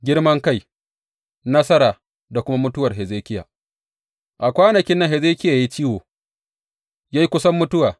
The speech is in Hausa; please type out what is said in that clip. Girmankai, nasara da kuma mutuwar Hezekiya A kwanakin nan Hezekiya ya yi ciwo, ya yi kusan mutuwa.